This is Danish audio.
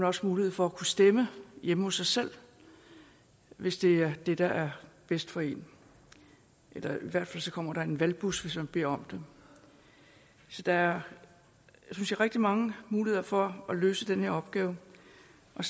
også mulighed for at kunne stemme hjemme hos sig selv hvis det er det der er bedst for en eller i hvert fald kommer der en valgbus hvis man beder om det så der er synes jeg rigtig mange muligheder for at løse den her opgave